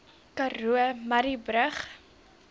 karoo murrayburg